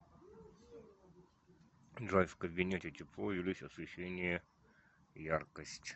джой в кабинете тепло увеличь освещение яркость